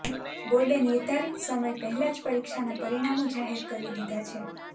બોર્ડે નિર્ધારીત સમય પહેલા જ પરીક્ષાના પરિણામો જાહેર કરી દીધા છે